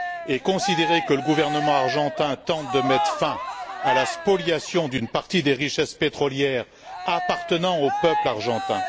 et considérer que le gouvernement argentin tente de mettre fin à la spoliation d'une partie des richesses pétrolières appartenant au peuple argentin?